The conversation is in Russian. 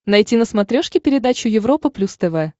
найти на смотрешке передачу европа плюс тв